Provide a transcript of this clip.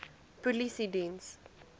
polisiediens